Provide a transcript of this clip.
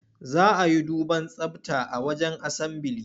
Za a yi duban tsabta a wajen asambili.